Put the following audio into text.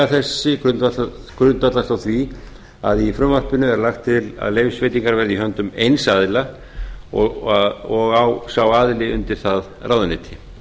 þessi grundvallast á því að í frumvarpinu er lagt til að leyfisveitingar verði í höndum eins aðila og á sá aðili undir það ráðuneyti